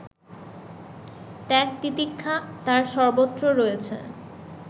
ত্যাগ-তিতিক্ষা তার সর্বত্র রয়েছে